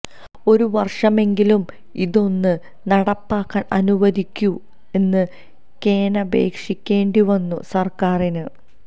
ഒരു വർഷമെങ്കിലും ഇതൊന്ന് നടപ്പാക്കാൻ അനുവദിക്കൂ എന്ന് കേണപേക്ഷിക്കേണ്ടി വന്നു സർക്കാറിന്